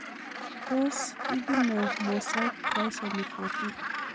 Tos ibunee mosaic trisomy 14?